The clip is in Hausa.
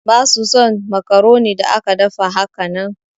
Basu son macaroni da aka dafa hakanan.